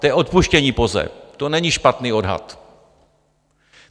To je odpuštění POZE, to není špatný odhad.